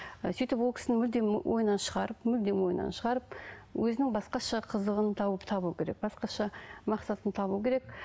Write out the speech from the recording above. ы сөйтіп ол кісіні мүлдем ойынан шығарып мүлдем ойынан шығарып өзінің басқаша қызығын тауып табу керек басқаша мақсатын табу керек